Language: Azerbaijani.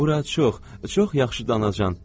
Bura çox, çox yaxşıdır nənəcan.